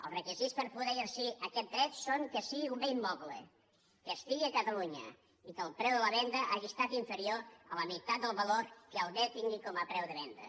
els requisits per poder exercir aquest dret són que sigui un bé immoble que estigui a catalunya i que el preu de la venda hagi estat inferior a la meitat del valor que el bé tingui com a preu de venda